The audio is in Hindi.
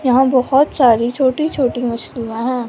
यहां बहुत सारी छोटी छोटी मछलियां हैं।